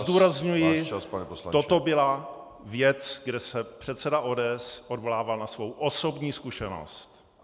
Zdůrazňuji, toto byla věc, kde se předseda ODS odvolával na svou osobní zkušenost.